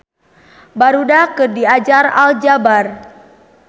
Barudak keur diajar aljabar